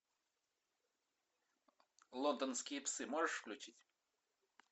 лондонские псы можешь включить